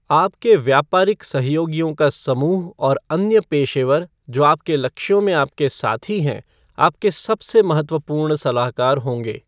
आपके व्यापारिक सहयोगियों का समूह और अन्य पेशेवर जो आपके लक्ष्यों में आपके साथी हैं आपके सबसे महत्वपूर्ण सलाहकार होंगे।